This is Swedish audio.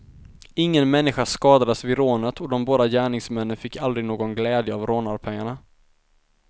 Ingen människa skadades vid rånet och de båda gärningsmännen fick aldrig någon glädje av rånarpengarna.